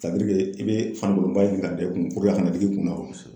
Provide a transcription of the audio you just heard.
i bɛ fanikolonba ɲini ka i kun puruke a kana digi i kunna